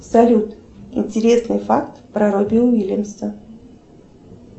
салют интересный факт про робби уильямса